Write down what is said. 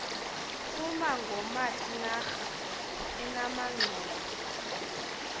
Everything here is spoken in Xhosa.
kuma ngomatinara enamanxowa